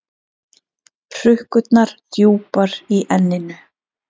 Hrukkurnar djúpar í enninu.